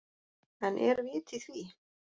En er vit í því?